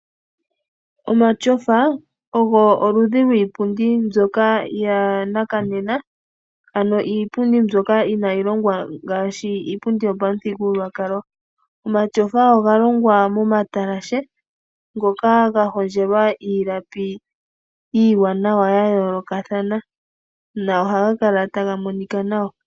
Omatyofa ogo oludhi lwiipundi mbyoka yanakanena. Ano iipundi mbyoka inayi longwa ngaashi iipundi mbyoka yopamuthigululwakalo. Omatyofa oga longwa momatalashe ngoka ga hondjelwa iilapi iiwanawa yayolokathana. Nohaga kala taga monika nawa.